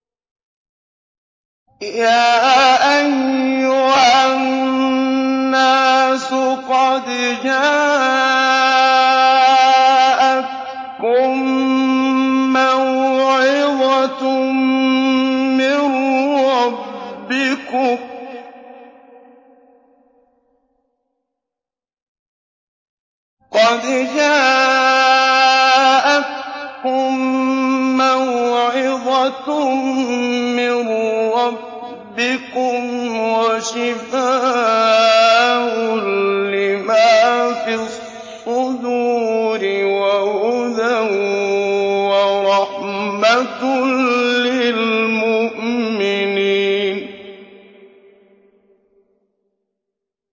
يَا أَيُّهَا النَّاسُ قَدْ جَاءَتْكُم مَّوْعِظَةٌ مِّن رَّبِّكُمْ وَشِفَاءٌ لِّمَا فِي الصُّدُورِ وَهُدًى وَرَحْمَةٌ لِّلْمُؤْمِنِينَ